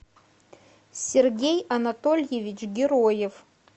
сергей анатольевич героев